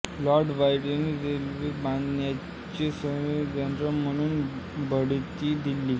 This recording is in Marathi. लॉर्ड क्लाइव्हने रेनेलला बंगालचे सर्व्हेयर जनरल म्हणून बढती दिली